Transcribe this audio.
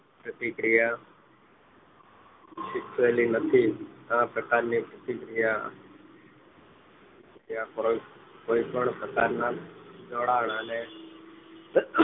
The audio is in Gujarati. પ્રતિક્રિયા સંબધિત આ પ્રકાર ની પ્રતિક્રિયા જ્યાં કોઈપણ પ્રકારના જોડાણ અને